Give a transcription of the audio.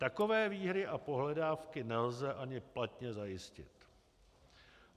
Takové výhry a pohledávky nelze ani platně zajistit.